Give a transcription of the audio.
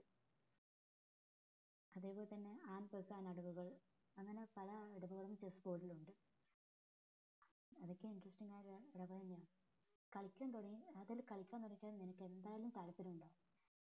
അത് പോലെ തന്നെ അടവുകൾ അങ്ങനെ പല അടവുകളും chessboard ൽ ഉണ്ട് അതൊക്കെ എനിക്ക് ഇപ്പൊ ഞാന്ക കളിക്കാൻ തുടങ്ങി അത് അങ്ങട്ട് കളിക്കാൻ തുടങ്ങി കഴിഞ്ഞാൽ നിനക്ക് എന്തായാലും താല്പര്യം ഉണ്ടാകും